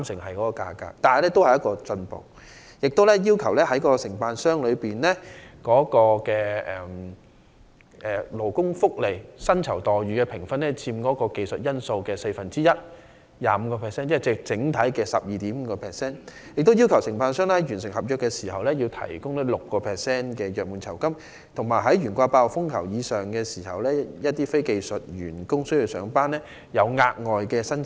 此外，施政報告亦建議將承辦商的勞工福利和薪酬待遇的評分訂為佔技術因數四分之一，即整體的 12.5%， 並在完成合約時提供 6% 的約滿酬金，以及在懸掛8號風球或以上時向須上班的非技術員工提供"工半"的額外薪酬。